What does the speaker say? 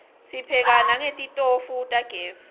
sipheka nangetitofu tagezi